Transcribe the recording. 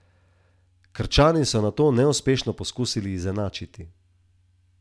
Ne rečem, da ga bodo res pokončala, a radio bo imel bistveno več konkurence, kot je je imel nekoč.